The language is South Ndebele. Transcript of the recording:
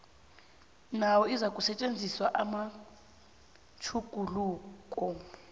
nayo izakusetjenziswa namatjhuguluko